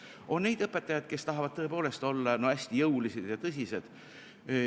On neid õpetajaid, kes tahavad tõepoolest olla hästi jõulised ja tõsised.